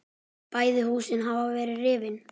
Bæði húsin hafa verið rifin.